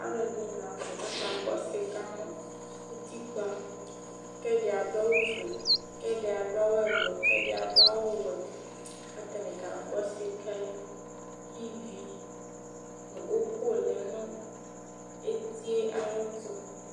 aloɛdi lantɛ k'aka gbɔ sika no utikpa kò ɛdi adu awu fue k'ɛdi adu awu wɛ k'atani ka gbɔ sika yɛ k'ivi no òkò lɛ no eti yɛ ayi ɛto